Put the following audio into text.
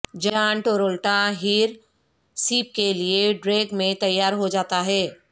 جان ٹورولٹا ہیرسیپ کے لئے ڈریگ میں تیار ہو جاتا ہے